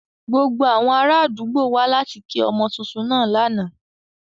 Gbogbo awọn araadugbo wa lati ki ọmọ tuntun naa lana.